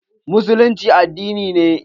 Musullinci addini ne.